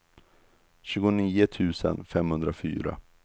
tjugonio tusen femhundrafyra